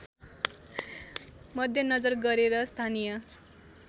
मध्यनजर गरेर स्थानीय